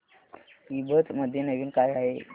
ईबझ मध्ये नवीन काय आहे